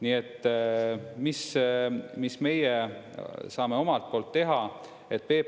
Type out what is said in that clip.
Nii et mis meie saame omalt poolt teha?